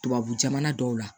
Tubabu jamana dɔw la